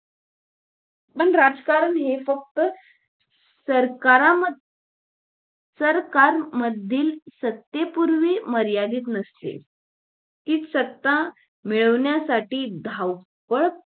पण राजकारण हे फक्त सरकारा म सरकार मधील सत्तेपुरते मर्यादित नसते ती सत्ता मिळवण्यासाठी ची धावपळ